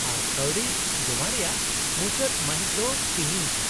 -ᱟᱨ ᱠᱟᱹᱣᱰᱤ ᱡᱚᱢᱟ ᱨᱮᱭᱟᱜ ᱢᱩᱪᱟᱹᱫ ᱢᱟᱹᱦᱤᱛ ᱫᱚ ᱛᱤᱦᱤᱧ ᱜᱮ ᱾